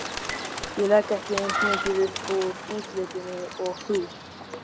Ég legg ekki eins mikið upp úr útlitinu og þú.